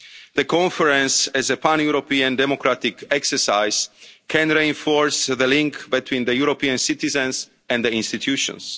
allow it. The Conference, as a pan-European democratic exercise, can reinforce the link between European citizens and the